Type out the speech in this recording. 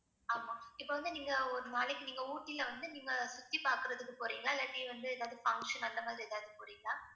ஆமாம் இப்போ வந்து நீங்க ஒரு நாளைக்கு நீங்க ஊட்டியில வந்து நீங்க சுத்தி பாக்கறதுக்கு போறீங்களா இல்லாட்டி வந்து ஏதாவது function அந்த மாதிரி ஏதாவது போறீங்களா?